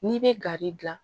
N'i bɛ gari gilan